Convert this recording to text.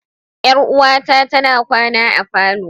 Yar'uwata tana kwana a falo.